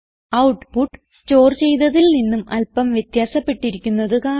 output store ചെയ്തതിൽ നിന്നും അല്പം വ്യത്യാസപ്പെട്ടിരിക്കുന്നത് കാണാം